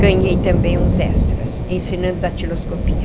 Ganhei também uns extras, ensinando datiloscopia.